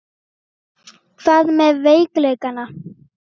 Hvað með veikleikana?